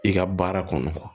I ka baara kɔnɔ